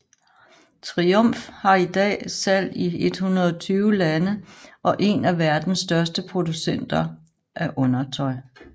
Triump har i dag salg i 120 lande og en af verdens største producenter af undertøj